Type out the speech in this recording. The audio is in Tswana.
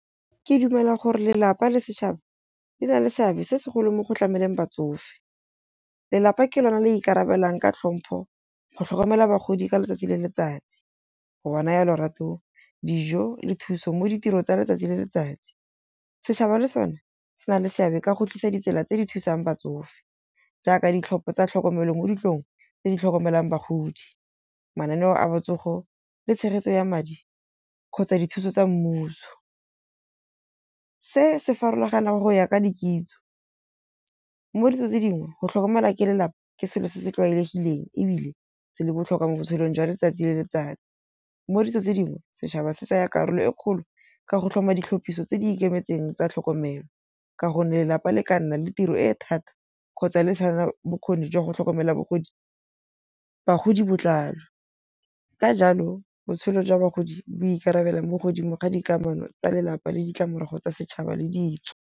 Ke dumela gore lelapa le setšhaba di na le seabe se segolo mo go tlameleng batsofe. Lelapa ke lone le ikarabelang ka tlhompho go tlhokomela bagodi ka letsatsi le letsatsi. Go ba naya lorato, dijo le thuso mo ditirong tsa letsatsi le letsatsi. Setšhaba le sone se na le seabe ka go tlisa ditsela tse di thusang batsofe, jaaka ditlhopho tsa tlhokomelo mo ditlong tse di tlhokomelang bagodi. Mananeo a botsogo le tshegetso ya madi kgotsa dithuso tsa mmuso. Se se farologana go ya ka dikitso. Mo ditso tse dingwe go tlhokomela ke lelapa ke selo se se tlwaelegileng ebile se le botlhokwa mo botshelong jwa letsatsi le letsatsi. Mo ditso tse dingwe setšhaba se tsaya karolo e kgolo ka go tlhoma ditlhopiso tse di ikemetseng tsa tlhokomelo. Ka gonne lelapa le ka nna le tiro e thata, kgotsa le tshwana bokgoni jwa go tlhokomela bogodi, bagodi botlalo. Ka jalo botshelo jwa bagodi bo ikarabela mo godimo ga dikamano tsa lelapa le ditlamorago tsa setšhaba le ditso.